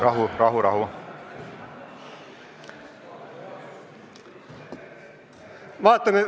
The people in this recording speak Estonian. Rahu, rahu, rahu!